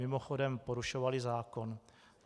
Mimochodem, porušovaly zákon.